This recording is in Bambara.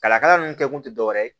Kalakala ninnu kɛ kun tɛ dɔ wɛrɛ ye